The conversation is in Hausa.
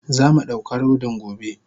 Zamu dauka rodin gobe.